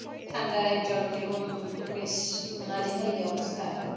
ঠান্ডায় জনজীবন বেশ নাজেহালী অবস্থা.